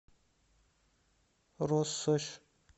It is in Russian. россошь